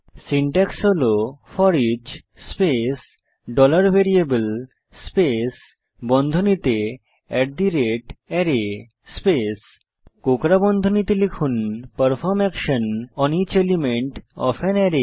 syntax হল foreach space dollar variable space বন্ধনীতে at the rate array space কোঁকড়া বন্ধনীতে লিখুন perform action on each element of an array